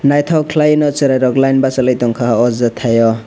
naitok kelai no cherai rok line basalai tangka o jetai o.